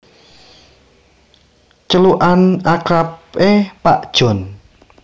Celukan akrabé Pak Jon